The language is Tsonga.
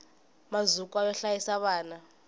mazukwa yo hlayisa vana